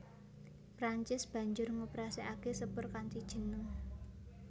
Prancis banjur ngoperasèkaké sepur kanthi jeneng